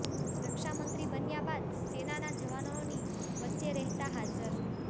રક્ષા મંત્રી બન્યા બાદ સેનાના જવાનોની વચ્ચે રહેતા હાજર